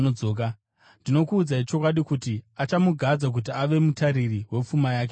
Ndinokuudzai chokwadi, kuti, achamugadza kuti ave mutariri wepfuma yake yose.